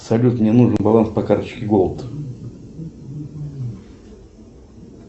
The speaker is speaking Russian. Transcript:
салют мне нужен баланс по карточке голд